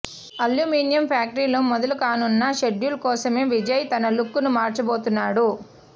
aluminium ఫ్యాక్టరీలో మొదలుకానున్న schedule కోసమే విజయ్ తన లుక్ ను మార్చబోతున్నాడు